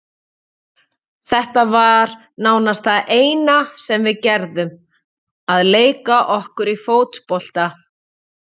Þetta var nánast það eina sem við gerðum, að leika okkur í fótbolta.